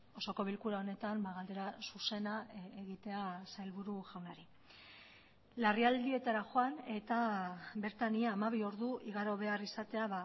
osoko bilkura honetan galdera zuzena egitea sailburu jaunari larrialdietara joan eta bertan ia hamabi ordu igaro behar izatea